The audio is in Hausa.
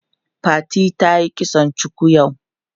Fatima tayi kitson cuku yau.